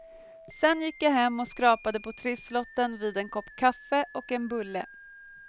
Sen gick jag hem och skrapade på trisslotten vid en kopp kaffe och en bulle.